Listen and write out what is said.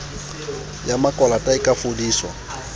ya makwalata e ka fodiswa